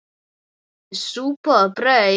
Súpa og brauð.